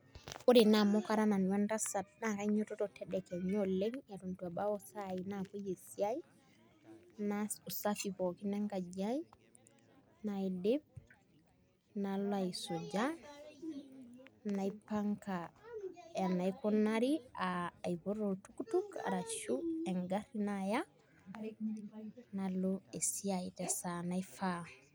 Ore naa kara nanu entasat naa kanyiototo tedekenya oleng' eton itu ebau isaai naapuoi esiai naas usafi pookin enkaji aai nalo aisuja naipanga enikunari aa aipot oltukutuk arashu engarri naaya nalo esiai tesaa naifaa.